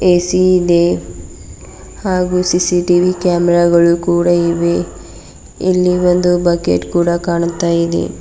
AC ಇದೆ ಹಾಗೂ CCTV camera ಗಳು ಕೂಡ ಇವೆ ಇಲ್ಲಿ ಒಂದು ಬಕೆಟ್ ಕೂಡ ಕಾಣ್ತಾ ಇದೆ.